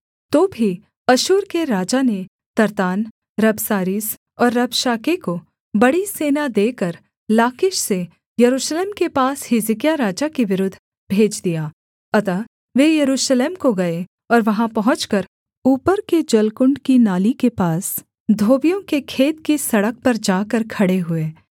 तो भी अश्शूर के राजा ने तर्त्तान रबसारीस और रबशाके को बड़ी सेना देकर लाकीश से यरूशलेम के पास हिजकिय्याह राजा के विरुद्ध भेज दिया अतः वे यरूशलेम को गए और वहाँ पहुँचकर ऊपर के जलकुण्ड की नाली के पास धोबियों के खेत की सड़क पर जाकर खड़े हुए